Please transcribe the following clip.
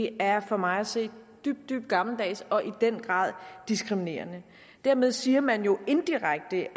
er for mig at se dybt dybt gammeldags og i den grad diskriminerende dermed siger man jo indirekte at